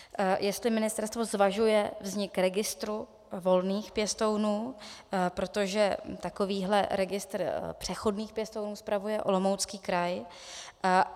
Jestli ministerstvo zvažuje vznik registru volných pěstounů, protože takovýhle registr přechodných pěstounů spravuje Olomoucký kraj.